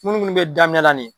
Minnu minnu bɛ daminɛ la nin ye.